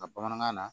Ka bamanankan na